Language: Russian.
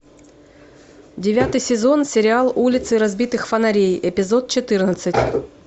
девятый сезон сериал улицы разбитых фонарей эпизод четырнадцать